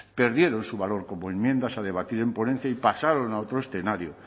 perdieron su valor como enmiendas a debatir en ponencia y pasaron a otro escenario